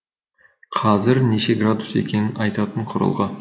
қазір неше градус екенін айтатын құрылғы